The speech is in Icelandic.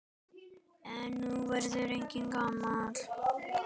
En nú verður enginn gamall.